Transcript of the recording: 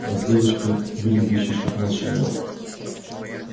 а с девочкой выглядящей чуть младше него